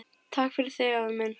Takk fyrir þig, afi minn.